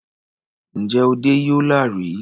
Ǹjẹ́ o dẹ́ Yola rí?